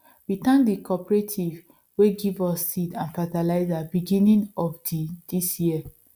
we thank the cooperative way give us seed and fertilizer beginning of the this year